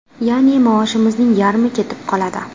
Ya’ni maoshimizning yarmi ketib qoladi.